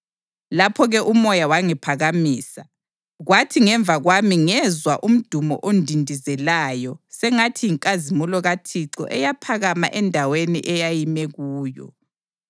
Lapho-ke uMoya wangiphakamisa, kwathi ngemva kwami ngezwa umdumo ondindizelayo sengathi yinkazimulo kaThixo eyaphakama endaweni eyayime kuyo!